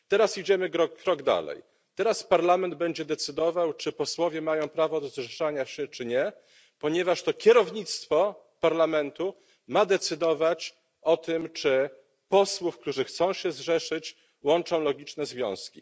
Teraz idziemy krok dalej, teraz Parlament będzie decydował, czy posłowie mają prawo do zrzeszania się czy nie, ponieważ to kierownictwo Parlamentu ma decydować o tym, czy posłów, którzy chcą się zrzeszyć, łączą logiczne związki.